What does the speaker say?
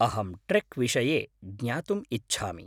अहं ट्रेक् विषये ज्ञातुम् इच्छामि।